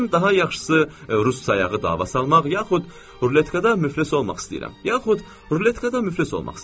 Mən daha yaxşısı rus sayağı dava salmaq, yaxud ruletkada müflis olmaq istəyirəm, yaxud ruletkada müflis olmaq istəyirəm.